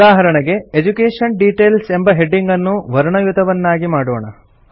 ಉದಾಹರಣೆಗೆ education details ಎಂಬ ಹೆಡಿಂಗನ್ನು ವರ್ಣಯುತವನ್ನಾಗಿ ಮಾಡೋಣ